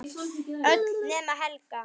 Öll nema Helga.